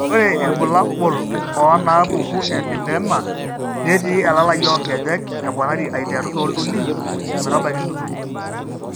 Ore irbulabul onaapuku elipedema netii elalai oonkejek eponari aiteru tooltuli ometabaiki intutuny.